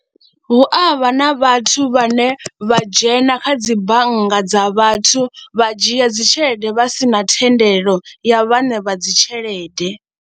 Hu a vha na vhathu vhane vha dzhena kha dzi bannga dza vhathu vha dzhia dzi tshelede vha si na thendelo ya vhaṋe vha dzi tshelede.